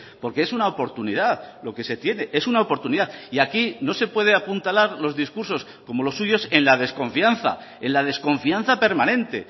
porque es una oportunidad lo que se tiene es una oportunidad y aquí no se puede apuntalar los discursos como los suyos en la desconfianza en la desconfianza permanente